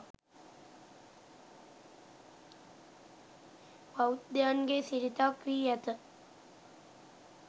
බෞද්ධයන්ගේ සිරිතක් වී ඇත.